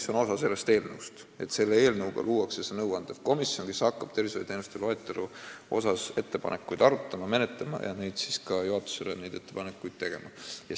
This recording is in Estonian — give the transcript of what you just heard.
See on osa sellest eelnõust, selle eelnõuga luuakse nõuandev komisjon, mis hakkab tervishoiuteenuste loetelu kohta tehtud ettepanekuid arutama ja menetlema ning neid ettepanekuid ka juhatusele tegema.